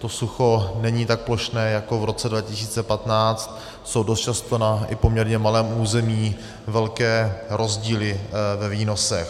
To sucho není tak plošné jako v roce 2015, jsou dost často i na poměrně malém území velké rozdíly ve výnosech.